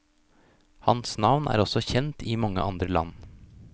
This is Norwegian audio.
Hans navn er også kjent i mange andre land.